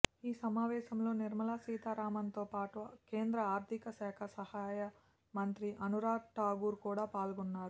ఈ సమావేశంలో నిర్మలా సీతారామన్ తో పాటు కేంద్ర ఆర్థిక శాఖ సహాయ మంత్రి అనురాగ్ ఠాకూర్ కూడా పాల్గొన్నారు